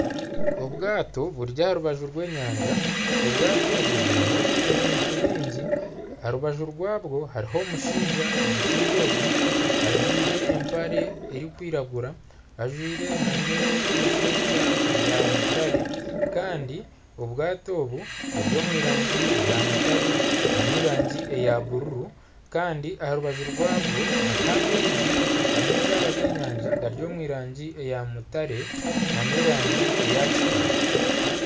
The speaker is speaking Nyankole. Obwato buri aha rubaju rw'enyanja obwato obu burimu ebintu bingi aha rubaju rwabo hariho omushaija omushaija ogu ajwaire ebirikwiragura ajwaire nana esweeta eya mutare Kandi obwato obu buri omurangi eya mutare nana erangi eya bururu kandi aha rubaju rwabwo hariho amaizi amaizi aga g'enyanja gari omurangi ya mutare nana erangi eya kitaka